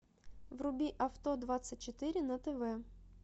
вруби авто двадцать четыре на тв